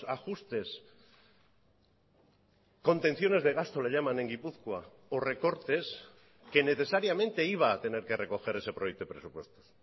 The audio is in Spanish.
ajustes contenciones de gasto le llaman en gipuzkoa o recortes que necesariamente iba a tener que recoger ese proyecto de presupuestos